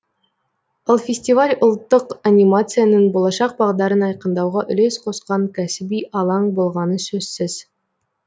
ал фестиваль ұлттық анимацияның болашақ бағдарын айқындауға үлес қосқан кәсіби алаң болғаны сөзсіз